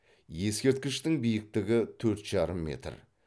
ескерткіштің биіктігі төрт жарым метр